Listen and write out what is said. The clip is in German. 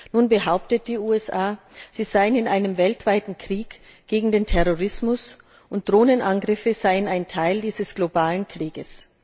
Nun behaupten die USA, sie seien in einem weltweiten Krieg gegen den Terrorismus und Drohnenangriffe seien ein Teil dieses globalen Krieges.